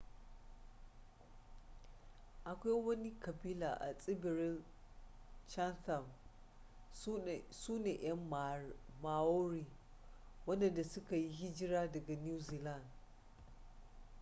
akwai wani kabila a tsibirir chatham sune yan maori wadanda suka yi hijira daga new zealand